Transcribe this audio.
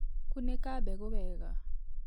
Kunĩka mbegũ wega.